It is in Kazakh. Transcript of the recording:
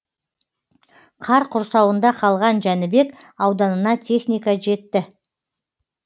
қар құрсауында қалған жәнібек ауданына техника жетті